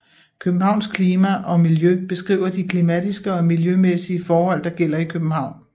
Københavns klima og miljø beskriver de klimatiske og miljømæssige forhold der gælder i København